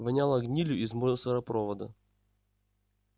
воняло гнилью из мусоропровода